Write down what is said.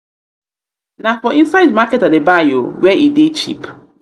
na for inside market i dey buy o where e dey cheap. um